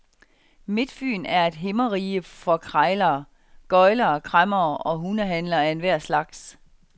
Midtfyn er et himmerige for krejlere, gøglere, kræmmere og hundehandlere af enhver slags.